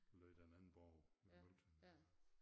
Lå den anden borg ved Møgeltønder der